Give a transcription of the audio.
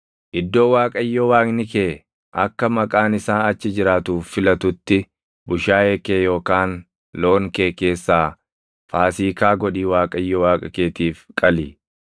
Iddoo Waaqayyo Waaqni kee akka Maqaan isaa achi jiraatuuf filatutti bushaayee kee yookaan loon kee keessaa Faasiikaa godhii Waaqayyo Waaqa keetiif qali.